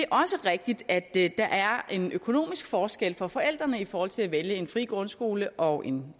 også rigtigt at der er en økonomisk forskel for forældrene i forhold til at vælge mellem en fri grundskole og en